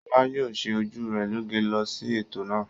Ṣọlá yóò ṣe ojú rẹ̀ lóge lọ sí ètò náà.